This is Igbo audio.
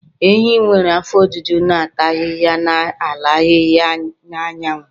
Ehi nwere afọ ojuju na-ata ahịhịa n'ala ahịhịa anyanwụ.